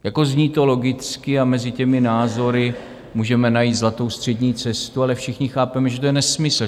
Zní to logicky a mezi těmi názory můžeme najít zlatou střední cestu, ale všichni chápeme, že to je nesmysl.